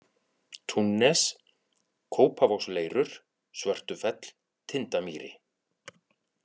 Túnnes, Kópavogsleirur, Svörtufell, Tindamýri